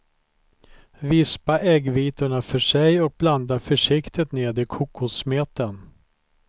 Vispa äggvitorna för sig och blanda försiktigt ned i kokossmeten.